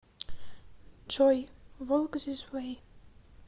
джой волк зис вэй